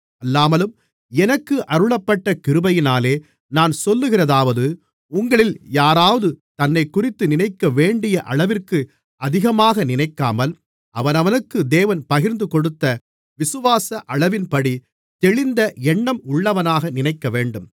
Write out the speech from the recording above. அல்லாமலும் எனக்கு அருளப்பட்ட கிருபையினாலே நான் சொல்லுகிறதாவது உங்களில் யாராவது தன்னைக்குறித்து நினைக்கவேண்டிய அளவிற்கு அதிகமாக நினைக்காமல் அவனவனுக்கு தேவன் பகிர்ந்துகொடுத்த விசுவாச அளவின்படி தெளிந்த எண்ணம் உள்ளவனாக நினைக்கவேண்டும்